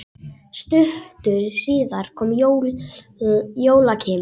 Stuttu síðar kom Jóakim.